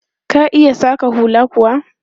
Ka iya saƙa hula kuwa?